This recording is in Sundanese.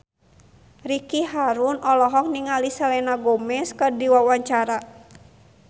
Ricky Harun olohok ningali Selena Gomez keur diwawancara